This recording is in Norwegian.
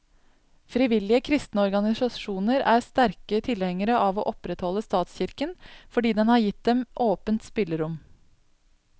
Frivillige kristne organisasjoner er sterke tilhengere av å opprettholde statskirken, fordi den har gitt dem åpent spillerom.